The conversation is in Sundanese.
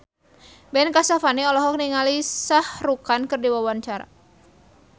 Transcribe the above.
Ben Kasyafani olohok ningali Shah Rukh Khan keur diwawancara